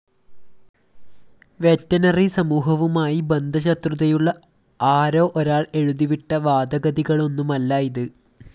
veterinary സമൂഹവുമായി ബദ്ധശത്രുതയുള്ള ആരോ ഒരാള്‍ എഴുതിവിട്ട വാദഗതികളൊന്നുമല്ല ഇത്